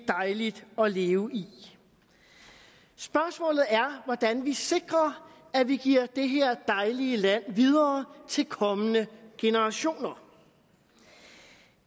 dejligt at leve i spørgsmålet er hvordan vi sikrer at vi giver det her dejlige land videre til kommende generationer